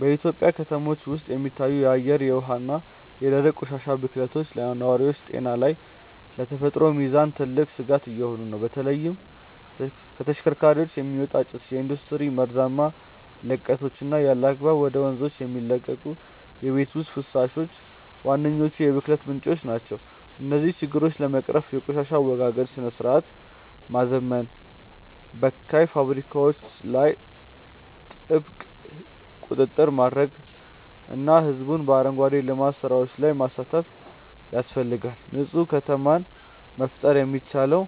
በኢትዮጵያ ከተሞች ውስጥ የሚታዩት የአየር፣ የውሃ እና የደረቅ ቆሻሻ ብክለቶች ለነዋሪዎች ጤና እና ለተፈጥሮ ሚዛን ትልቅ ስጋት እየሆኑ ነው። በተለይም ከተሽከርካሪዎች የሚወጣ ጭስ፣ የኢንዱስትሪ መርዛማ ልቀቶች እና ያለአግባብ ወደ ወንዞች የሚለቀቁ የቤት ውስጥ ፈሳሾች ዋነኞቹ የብክለት ምንጮች ናቸው። እነዚህን ችግሮች ለመቅረፍ የቆሻሻ አወጋገድ ስርዓትን ማዘመን፣ በካይ ፋብሪካዎች ላይ ጥብቅ ቁጥጥር ማድረግ እና ህዝቡን በአረንጓዴ ልማት ስራዎች ላይ ማሳተፍ ያስፈልጋል። ንፁህ ከተማን መፍጠር የሚቻለው